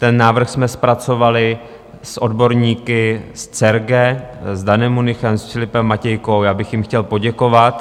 Ten návrh jsme zpracovali s odborníky z CERGE, s Danem Münichem, s Filipem Matějkou, já bych jim chtěl poděkovat.